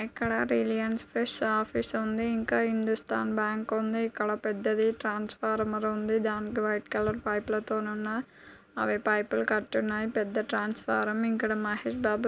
ఇక్కడ Reliance fresh office ఉంది.ఇంకా Hindustan bank ఉంది ఇక్కడ పెద్దధీ ట్రాన్స్‌ఫార్మర్ ఉంది. దానితో వైట్ కలర్ పైప్ లతో ను ఉన్న అవి పైప్ లు కట్టి ఉన్నాయి. పెద్ద ట్రాన్స్‌ఫార్మర్ ఇక్కడ మహేశ్‌బాబు--